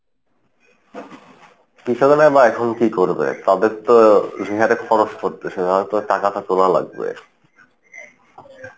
কৃষকেরা বা এখন কী করবে তাদের তো যে হারে খরচ পড়তেছে খরচের টাকা তো তোলা লাগবে।